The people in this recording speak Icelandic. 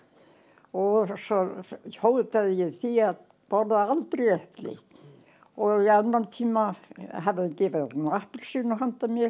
og svo hótaði ég því að borða aldrei epli og í annan tíma hafði hann gefið honum appelsínu handa mér